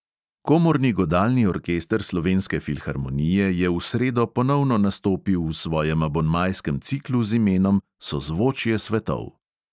Komorni godalni orkester slovenske filharmonije je v sredo ponovno nastopil v svojem abonmajskem ciklu z imenom sozvočje svetov.